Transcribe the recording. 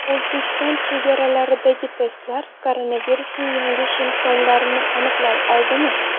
O‘zbekiston chegaralaridagi testlar koronavirusning yangi shtammlarini aniqlay oladimi?.